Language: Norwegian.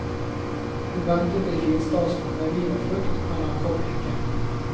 Hun ventet i finstasen med vin og frukt, men han kom ikke.